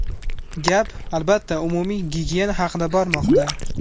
Gap, albatta, umumiy gigiyena haqida bormoqda.